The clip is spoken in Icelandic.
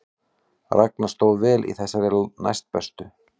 Ragna stóð vel í þeirri næstbestu